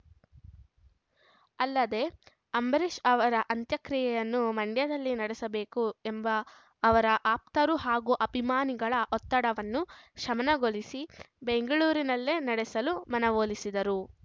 ಅಲ್ಲದೆ ಅಂಬರೀಷ್‌ ಅವರ ಅಂತ್ಯಕ್ರಿಯೆಯನ್ನು ಮಂಡ್ಯದಲ್ಲಿ ನಡೆಸಬೇಕು ಎಂಬ ಅವರ ಆಪ್ತರು ಹಾಗೂ ಅಭಿಮಾನಿಗಳ ಒತ್ತಡವನ್ನು ಶಮನಗೊಳಿಸಿ ಬೆಂಗಳೂರಿನಲ್ಲೇ ನಡೆಸಲು ಮನವೊಲಿಸಿದರು